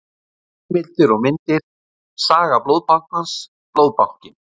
Heimildir og myndir: Saga Blóðbankans- Blóðbankinn.